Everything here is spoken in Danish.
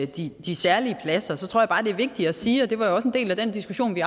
de de særlige pladser tror jeg bare det er vigtigt at sige og det var jo også en del af den diskussion vi